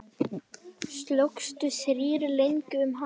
Slógust þrír lengi um hann.